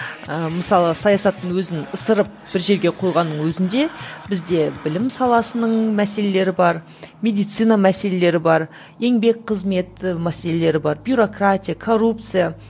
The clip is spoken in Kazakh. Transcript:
ыыы мысалы саясаттың өзін ысырып бір жерге қойғанның өзінде бізде білім саласының мәселелері бар медицина мәселелері бар еңбек қызмет мәселелері бар бюрократия коррупция